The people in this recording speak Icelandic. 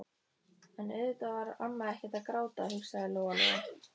En auðvitað var amma ekkert að gráta, hugsaði Lóa-Lóa.